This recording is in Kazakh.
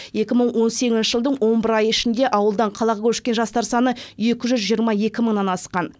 екі мың он сегізінші жылдың он бір айы ішінде ауылдан қалаға көшкен жастар саны екі жүз жиырма екі мыңнан асқан